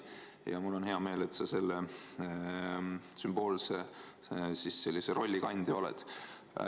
Ja mul on hea meel, et sa sellise sümboolse rolli kandja oled.